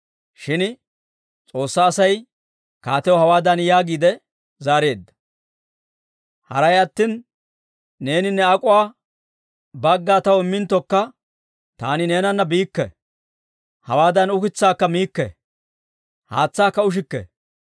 Shin S'oossaa Asay kaatiyaw hawaadan yaagiide zaareedda; «Haray attina neeni ne ak'oo bagga taw imminttokka, taani neenana biikke; hawaan ukitsaakka miikke, haatsaakka ushikke.